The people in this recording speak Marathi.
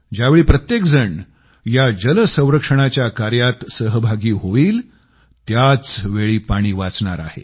ज्यावेळी प्रत्येकजण या जल संरक्षणाच्या कार्यात सहभागी होईल त्याचवेळी पाणी वाचणार आहे